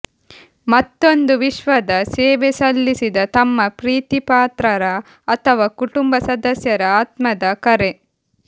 ಮತ್ತೊಂದು ವಿಶ್ವದ ಸೇವೆ ಸಲ್ಲಿಸಿದ ತಮ್ಮ ಪ್ರೀತಿಪಾತ್ರರ ಅಥವಾ ಕುಟುಂಬ ಸದಸ್ಯರ ಆತ್ಮದ ಕರೆ